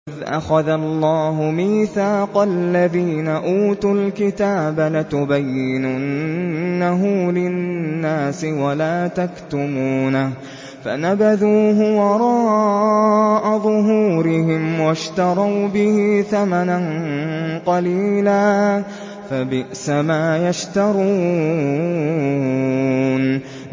وَإِذْ أَخَذَ اللَّهُ مِيثَاقَ الَّذِينَ أُوتُوا الْكِتَابَ لَتُبَيِّنُنَّهُ لِلنَّاسِ وَلَا تَكْتُمُونَهُ فَنَبَذُوهُ وَرَاءَ ظُهُورِهِمْ وَاشْتَرَوْا بِهِ ثَمَنًا قَلِيلًا ۖ فَبِئْسَ مَا يَشْتَرُونَ